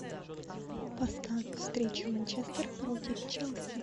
поставь встречу манчестер против челси